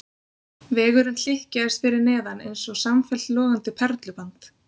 Vegurinn hlykkjaðist fyrir neðan eins og samfellt logandi perluband.